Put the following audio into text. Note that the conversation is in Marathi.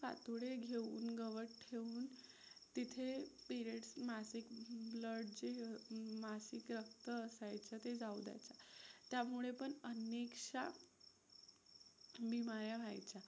ठोडे घेऊन गवत ठेऊन तिथे periods मासिक blood जे मासिक रक्त असायचं ते जाऊ द्यायचं, त्यामुळे पण अनेकशा बीमाऱ्या व्हायच्या.